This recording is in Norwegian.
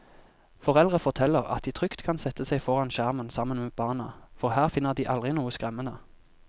Foreldre forteller at de trygt kan sette seg foran skjermen sammen med barna, for her finner de aldri noe skremmende.